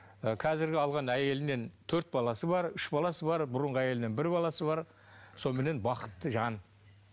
і қазіргі алған әйелінен төрт баласы бар үш баласы бар бұрынғы әйелінен бір баласы бар соныменен бақытты жан